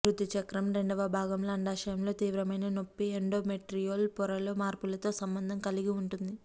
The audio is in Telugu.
ఋతు చక్రం రెండవ భాగంలో అండాశయాలలో తీవ్రమైన నొప్పి ఎండోమెట్రియాల్ పొరలో మార్పులతో సంబంధం కలిగి ఉంటుంది